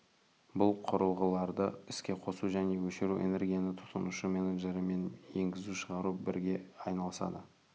бұл құрылғыларды іске қосу және өшіру энергияны тұтынушы менеджері мен енгізу-шығару бірге айналысады